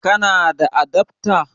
Kana da adafta?